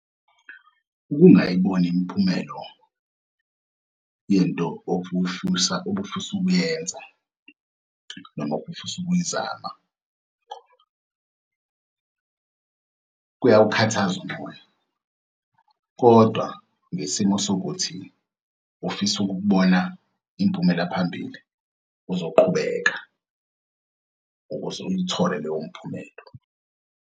Ukungayiboni imiphumelo ye nto obufisa ukuyenza noma obufisa ukuyizama kuyawukhathaza umoya kodwa ngesimo sokuthi ufisa ukukubona impumela-phambili uzoqhubeka, ukuze uyithole leyo mphumelo.